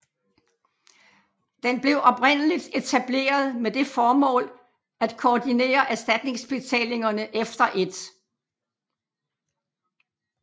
Den blev oprindeligt etableret med det formål at koordinere erstatningsbetalingerne efter 1